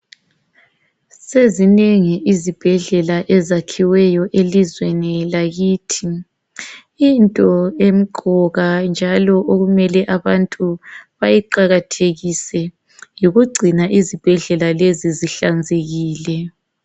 Sezinengi izibhedlela ezakhiweyo elizweni lakithi. Into emqoka njalo okumele abantu bayiqakathekise yikugcina izibhedlela lezi zihlanzekile .